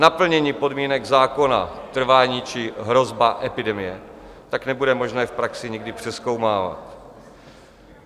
Naplnění podmínek zákona, trvání či hrozba epidemie, tak nebude možné v praxi nikdy přezkoumávat.